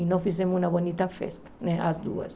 E nós fizemos uma bonita festa, né as duas.